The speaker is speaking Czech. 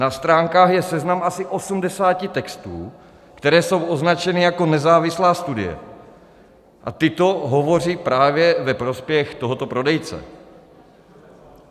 Na stránkách je seznam asi 80 textů, které jsou označeny jako nezávislá studie, a tyto hovoří právě ve prospěch tohoto prodejce.